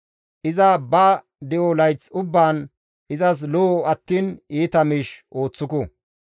Iza ba de7o layth ubbaan izas lo7o attiin iita miish ooththuku.